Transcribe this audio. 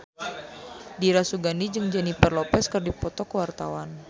Dira Sugandi jeung Jennifer Lopez keur dipoto ku wartawan